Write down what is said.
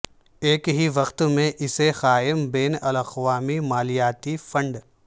ایک ہی وقت میں اسے قائم بین الاقوامی مالیاتی فنڈ